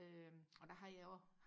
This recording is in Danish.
øh og der har jeg også